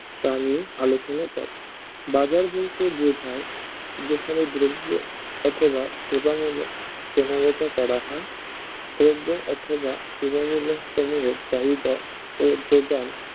তা নিয়ে আলোচনা করে বাজার বলতে বোঝায় যেখানে দ্রব্য অথবা সেবা মূলক কেনা বেচা করা হয় দ্রব্য অথবা সেবামূলক সমূহে চাহিদা ও যোগান